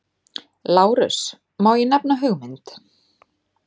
LÁRUS: Má ég nefna hugmynd?